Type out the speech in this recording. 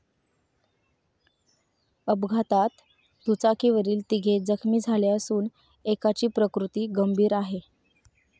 अपघातात दुचाकीवरील तिघे जखमी झाले असून एकाची प्रकृती गंभीर आहे.